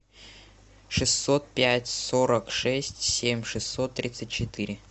шестьсот пять сорок шесть семь шестьсот тридцать четыре